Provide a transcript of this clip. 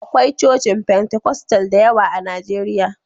Akwai cocin Fentekostal da yawa a Najeriya.